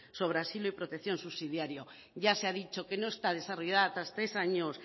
sobre asilo y protección subsidiaria ya se ha dicho que no está desarrollada tras